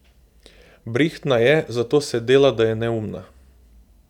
Brihtna je, zato se dela, da je neumna.